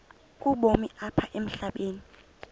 ubomi apha emhlabeni